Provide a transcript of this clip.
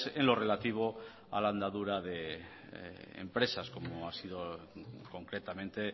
en lo relativo a la andadura de empresas como ha sido concretamente